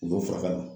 U y'o faga